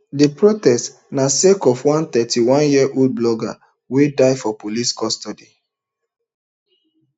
di protest na sake of one thirty-oneyearold blogger wey die for police custody